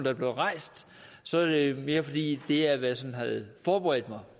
er blevet rejst så er det mere fordi det er hvad jeg sådan havde forberedt mig